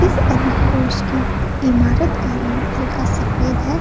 इस की ईमारत का रंग हल्का सफ़ेद है |